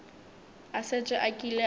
a šetše a kile a